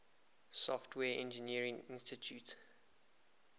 software engineering institute